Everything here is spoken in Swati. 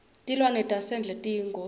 tilwane tasendle tiyingoti